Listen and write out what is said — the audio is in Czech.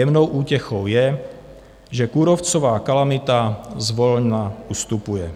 Jemnou útěchou je, že kůrovcová kalamita zvolna ustupuje